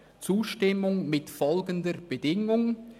«Zustimmung mit folgender Bedingung: